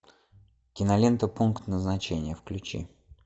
кинолента пункт назначения включи